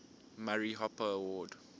murray hopper award